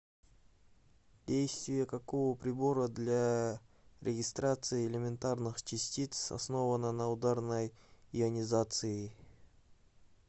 действие какого прибора для регистрации элементарных частиц основано на ударной ионизации